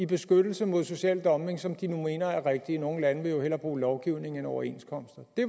beskyttelse mod social dumping som de nu mener er rigtige nogle lande vil jo hellere bruge lovgivning end overenskomster det